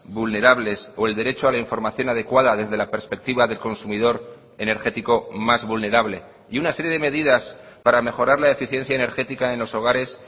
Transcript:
vulnerables o el derecho a la información adecuada desde la perspectiva del consumidor energético más vulnerable y una serie de medidas para mejorar la eficiencia energética en los hogares